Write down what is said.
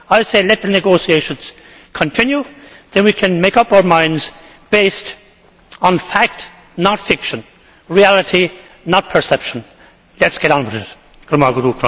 I say let the negotiations continue, then we can make up our minds based on fact not fiction, reality not perception. Let us get on with it.